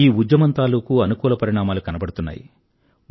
ఈ ఉద్యమం తాలూకూ అనుకూల పరిణామాలు కనబడుతున్నాయి